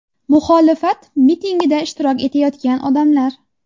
Muxolifat mitingida ishtirok etayotgan odamlar.